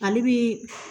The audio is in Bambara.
Ale bi